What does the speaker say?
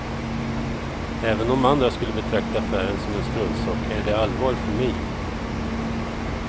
Även om andra skulle betrakta affären som en struntsak är det allvar för mig.